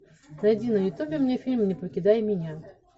найди на ютубе мне фильм не покидай меня